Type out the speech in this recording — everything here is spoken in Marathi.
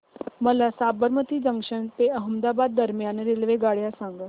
मला साबरमती जंक्शन ते अहमदाबाद दरम्यान रेल्वेगाड्या सांगा